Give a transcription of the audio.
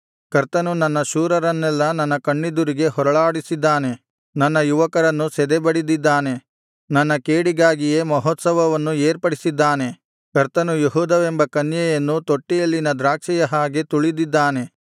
ಕರ್ತನು ನನ್ನ ಶೂರರನ್ನೆಲ್ಲಾ ನನ್ನ ಕಣ್ಣೆದುರಿಗೆ ಹೊರಳಾಡಿಸಿದ್ದಾನೆ ನನ್ನ ಯುವಕರನ್ನು ಸದೆಬಡಿದಿದ್ದಾನೆ ನನ್ನ ಕೇಡಿಗಾಗಿಯೇ ಮಹೋತ್ಸವವನ್ನು ಏರ್ಪಡಿಸಿದ್ದಾನೆ ಕರ್ತನು ಯೆಹೂದವೆಂಬ ಕನ್ಯೆಯನ್ನು ತೊಟ್ಟಿಯಲ್ಲಿನ ದ್ರಾಕ್ಷಿಯ ಹಾಗೆ ತುಳಿದಿದ್ದಾನೆ